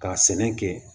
Ka sɛnɛ kɛ